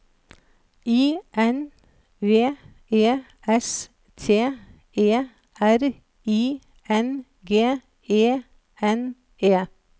I N V E S T E R I N G E N E